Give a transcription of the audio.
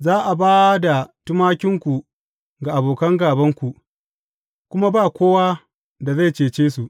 Za a ba da tumakinku ga abokan gābanku, kuma ba kowa da zai cece su.